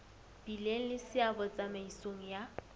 bileng le seabo tsamaisong ya